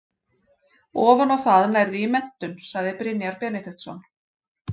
Ofan á það nærðu í menntun, segir Brynjar Benediktsson.